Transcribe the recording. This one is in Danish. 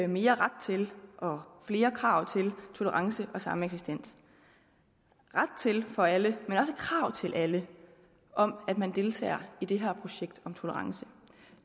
mere ret til og flere krav til tolerance og sameksistens ret til for alle men også krav til alle om at man deltager i det her projekt om tolerance og